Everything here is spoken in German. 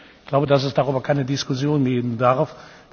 Ich glaube, dass es darüber keine Diskussion geben darf.